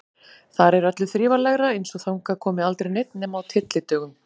Þar er öllu þrifalegra, eins og þangað komi aldrei neinn nema á tyllidögum.